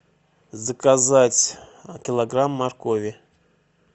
заказать килограмм моркови